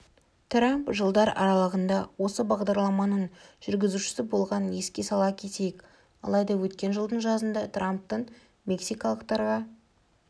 трамп жылдар аралығында осы бағдарламаның жүргізушісі болғанын еске сала кетейік алайда өткен жылдың жазында трамптың мексикалықтарға